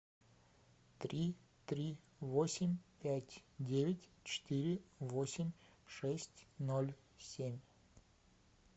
три три восемь пять девять четыре восемь шесть ноль семь